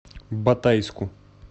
батайску